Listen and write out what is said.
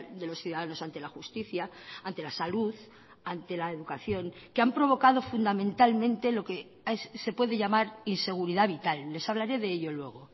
de los ciudadanos ante la justicia ante la salud ante la educación que han provocado fundamentalmente lo que se puede llamar inseguridad vital les hablaré de ello luego